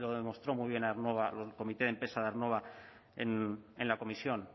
demostró muy bien aernnova el comité de empresa de aernnova en la comisión